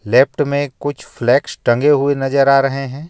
Left में कुछ flags टंगे हुए नजर आ रहे हैं.